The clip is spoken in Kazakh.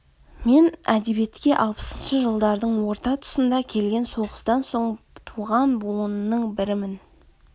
мен әдебиетке алпысыншы жылдардын орта тұсында келген соғыстан соң туған буынның бірімін